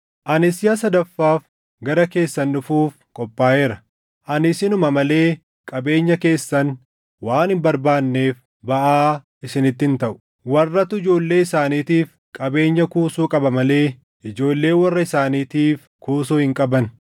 Ani siʼa sadaffaaf gara keessan dhufuuf qophaaʼeera; ani isinuma malee qabeenya keessan waan hin barbaanneef baʼaa isinitti hin taʼu. Warratu ijoollee isaaniitiif qabeenya kuusuu qaba malee ijoolleen warra isaaniitiif kuusuu hin qaban.